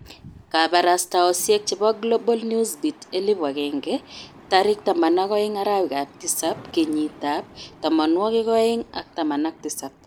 Kabarastaosyek chebo Global Newsbeat 1000 12/07/2017